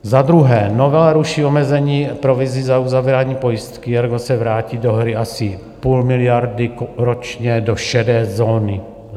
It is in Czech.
Za druhé, novela ruší omezení provizí za uzavírání pojistky, ergo se vrátí do hry asi půl miliardy ročně do šedé zóny.